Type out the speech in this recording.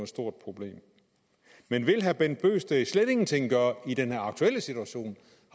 stort problem men vil herre bent bøgsted slet ingenting gøre i den aktuelle situation